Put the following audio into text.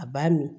A b'a min